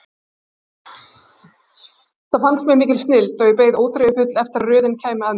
Þetta fannst mér mikil snilld og ég beið óþreyjufull eftir að röðin kæmi að mér.